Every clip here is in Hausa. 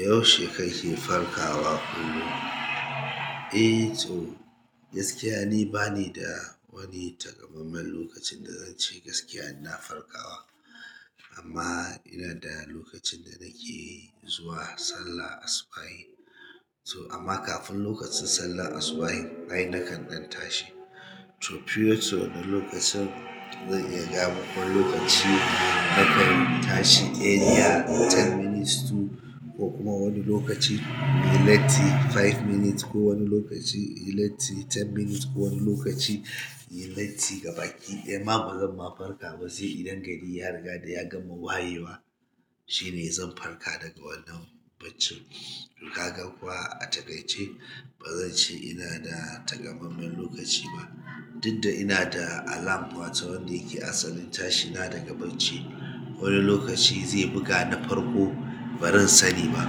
Yaushe kake farkawa kullum? Eh to gaskiya ni bani da wani taƙamaiman lokacin da zance gaskiya ina farkawa. Amma ina da lokacin da nake zuwa sallah asubahi. To amma kafin lokacin sallah asubahin ai nakan ɗan tashi. To pure to na lokacin zan iya gama kwan lokaci nakan tashi a ya ten minutes to ko kuma wani lokaci me leti five minutes ko wani lokaci me leti ten minutes ko wani lokaci me leti gaba ƙi. Amma bazan ma farka ba sai idan gari ya riga da ya gama wayewa. Shine zan farka daga wannan bacci. Kaga kuwa a takaice bazan ce ina da takamaiman lokaci ba. Duk da ina da alarm wata wanda yake asalin tashi na daga bacci. Wani lokaci zai buga na farko barin sani ba.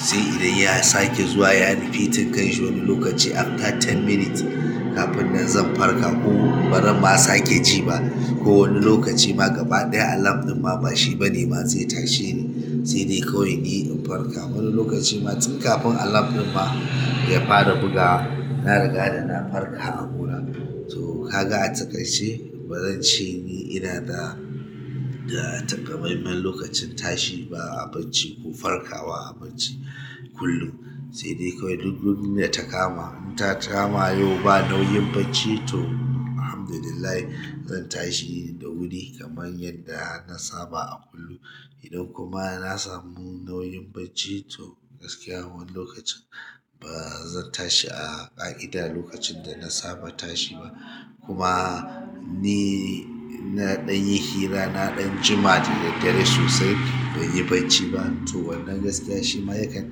Sai idan ya sake zuwa ya rufi tinkanshi wani lokaci after ten minutes kafin nan zan farka ko baran ma sake ji ba. Ko wani lokaci ma gaba ɗaya alarm ɗin ma ba shi bane ma zai tashe ni. Sai dai kawai ni in farka. Wani lokaci ma tun kafin alarm ɗin ma ya fara bugawa na riga da na farka a hula. To kaga a takaice bazan ce ni ina da, da takamaiman lokacin tashi ba a bacci ko farkawa a bacci kullum. Sai dai kawai duk duk ina takama, na takama yau ba nauyin bacci to Alhamdulillah zan tashi da wuri kamar yadda na saba a kullum. Idan kuma na samu nauyin bacci to gaskiya wani lokacin ba zan tashi a ƙa'ida lokacin da na saba tashi ba. Kuma ni naɗin hira, naɗin juma da daddare sosai ban yi bacci ba. To wannan ma gaskiya shima yakan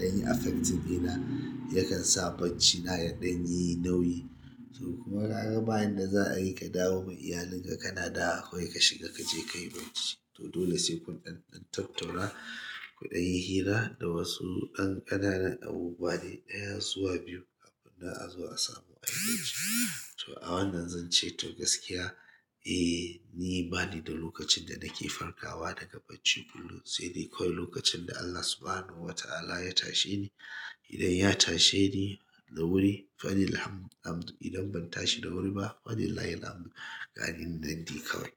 ɗanyi affecting ɗina yakan sa bacci na ya ɗanyi nauyi to kuma kaga bayanda za a yi ka dawo ma iyalin ka, ka naɗa kakai ka shiga ka je ka yi bacci to dole sai kun ɗan ɗan tattauna, kuɗin hira da wasu an ƙanana abu dai ɗaya suwa biyu karin na a zo a samu a yi bacci. To a wannan zan ce to gaskiya, eh ni bani da lokacin da nake farkawa daga bacci kullum. Sai dai kawai lokacin da Allah Subhanahu wa Ta'ala ya tashe ni. Idan ya tashe ni da wuri fa Alhamdulillah, idan ban tashi da wuri ba fa Alhamdulillah gari na nan di kawai.